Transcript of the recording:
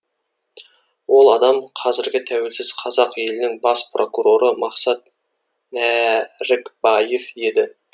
ол адам қазіргі тәуелсіз қазақ елінің бас прокуроры мақсұт нәрікбаев еді